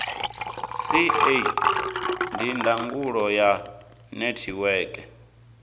ca ndi ndangulo ya netiweke